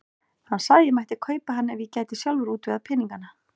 Hann sagði að ég mætti kaupa hann ef ég gæti sjálfur útvegað peningana.